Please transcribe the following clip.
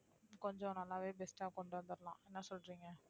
கொஞ்சம் நல்லாவே best ஆ கொண்டு வந்தரலாம் என்ன சொல்றீங்க